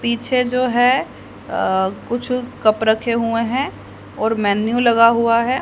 पीछे जो है अह कुछ कप रहे हुए हैं और मेनू लगा हुआ है।